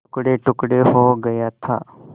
टुकड़ेटुकड़े हो गया था